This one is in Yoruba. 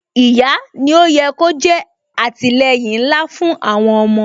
Ìyá ni ó yẹ kó jẹ́ àtìleyìn ńlá fún àwọn ọmọ